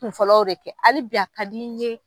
Kun fɔlɔ de kɛ hali bi a ka di n ɲe